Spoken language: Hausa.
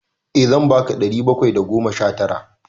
Eh zan ba ka ɗari bakwai da goma sha tara.